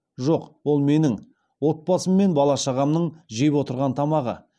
жоқ ол менің отбасым мен бала шағамның жеп отырған тамағы